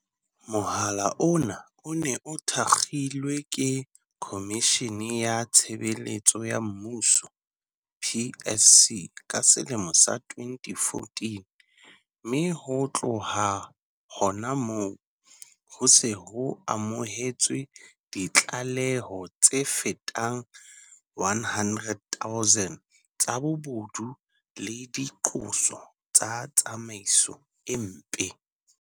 Mohala ona o ne o thakgolwe ke Khomishene ya Tshebeletso ya Mmuso, PSC, ka selemo sa 2014, mme ho tloha hona hoo, ho se ho amohetswe ditlaleho tse fetang 100 000 tsa bobodu le diqoso tsa tsamaiso e mpe.